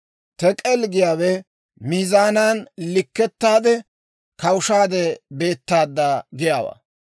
Tek'el giyaawe miizaanaan likkettaade, kawushaade beettaadda giyaawaa.